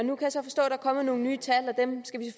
kommet nogle nye tal dem skal vi